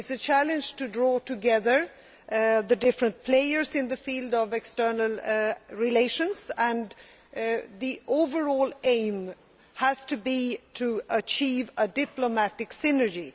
It is a challenge to draw together the different players in the field of external relations, and the overall aim has to be to achieve a diplomatic synergy.